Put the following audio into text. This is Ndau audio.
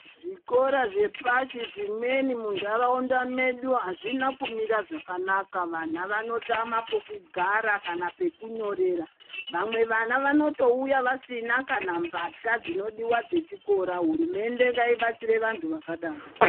Zvikora zvepashi zvimweni muntaraunda medu azvina kumira zvakanaka. Vana vanotama pokugara kana pekunyorera. Vamwe vana vanotouya vasina kana mbatya dzinodiwa dzechikora. Hurumende ngaibatsire vantu zvakadaro.